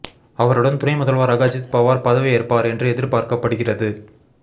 அவருடன் துணை முதல்வராக அஜித் பவார் பதவி ஏற்பார் என்று எதிர்பார்க்கப்படுகிறது